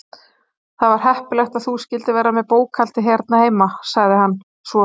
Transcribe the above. Það var heppilegt að þú skyldir vera með bókhaldið hér heima- sagði hann svo.